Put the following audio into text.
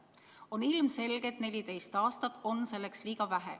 On ilmselge, et 14-aastane on selleks liiga noor.